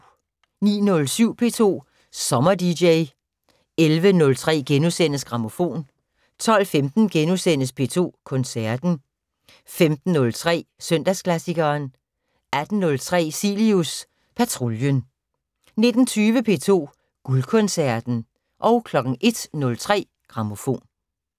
09:07: P2 Sommerdj 11:03: Grammofon * 12:15: P2 Koncerten * 15:03: Søndagsklassikeren 18:03: Cilius Patruljen 19:20: P2 Guldkoncerten 01:03: Grammofon